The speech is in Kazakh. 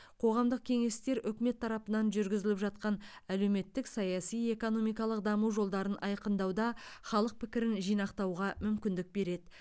қоғамдық кеңестер үкімет тарапынан жүргізіліп жатқан әлеуметтік саяси экономикалық даму жолдарын айқындауда халық пікірін жинақтауға мүмкіндік береді